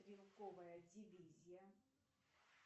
стрелковая дивизия